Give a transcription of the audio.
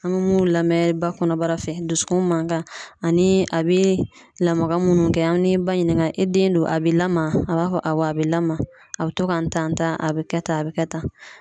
An be mun lamɛn ba kɔnɔbara fɛ dusukun mankan ani a be lamaga munnu kɛ an be ba ɲinika, e den dun a be lamaa ? A b'a fɔ awɔ, a be lamaa a be to ka n tan tan, a be kɛ tan a be kɛ tan.